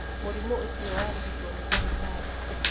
Mũrimũ ũcio warigitwo nĩ ndagĩtarĩ